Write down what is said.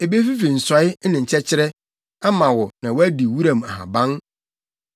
Ebefifi nsɔe ne nkyɛkyerɛ ama wo na woadi wuram nhaban.